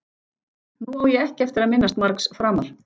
Nú á ég ekki eftir að minnast margs framar.